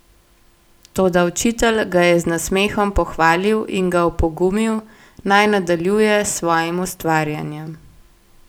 Toda učitelj ga je z nasmehom pohvalil in ga opogumil, naj nadaljuje s svojim ustvarjanjem.